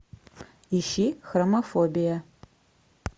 ищи хромофобия